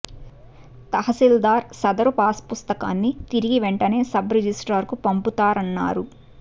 తహసిల్దార్ సదరు పాస్ పుస్తకాన్ని తిరిగి వెంటనే సబ్ రిజిస్ట్రార్ కు పంపుతారన్నారు